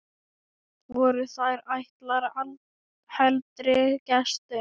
Voru þær ætlaðar heldri gestum.